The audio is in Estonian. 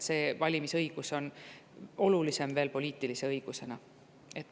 Valimisõigus on poliitilise õigusena veel olulisem.